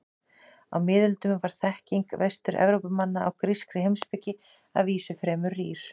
Á miðöldum var þekking Vestur-Evrópumanna á grískri heimspeki að vísu fremur rýr.